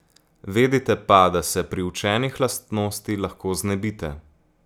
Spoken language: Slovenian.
Vedite pa, da se priučenih lastnosti lahko znebite.